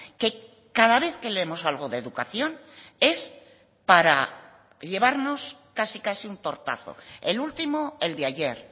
que cada vez que leemos algo de educación es para llevarnos casi casi un tortazo el último el de ayer